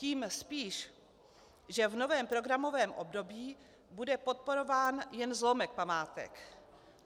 Tím spíš, že v novém programovém období bude podporován jen zlomek památek.